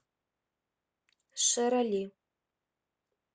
шерали